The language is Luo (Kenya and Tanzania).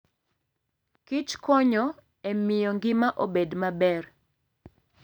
kichkonyo e miyo ngima obed maber.